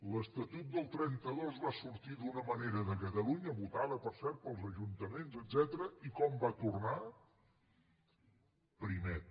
l’estatut del trenta dos va sortir d’una manera de catalunya votada per cert pels ajuntaments etcètera i com va tornar primet